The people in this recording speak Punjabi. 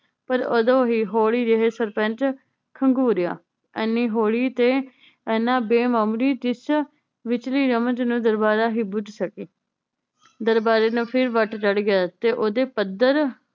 ਪਰ ਓਦੋ ਹੀ ਹੌਲੀ ਜਿਹੇ ਸਰਪੰਚ ਖੰਗੂਰੇਯਾ ਹਨੀ ਹੌਲੀ ਤੇ ਇਹਨਾਂ ਬੇਮਾਮੂਲੀ ਜਿੱਚ ਵਿਚਲੀ ਰਮਨ ਨੂੰ ਦਰਬਾਰਾ ਹੀ ਬੁਝ੍ਹ ਸਕੇ ਦਰਬਾਰੇ ਨੂੰ ਫਿਰ ਵੱਟ ਚੜ੍ਹ ਗਿਆ ਤੇ ਓਹਦੇ ਪੱਧਰ